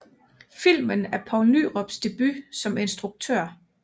Filmen er Poul Nyrups debut som instruktør